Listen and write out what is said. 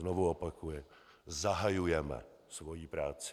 Znovu opakuji: Zahajujeme svoji práci.